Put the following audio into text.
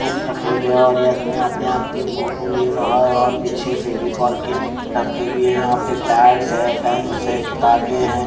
Books रखे हुए हैं और ये आदमी अपने आप की फोटो ले रहा है और पीछे फेविकोल के डब्बे भी हैं यहाँ पे पैड्स हैं पेंस हैं किताबें हैं।